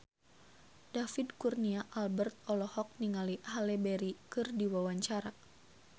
David Kurnia Albert olohok ningali Halle Berry keur diwawancara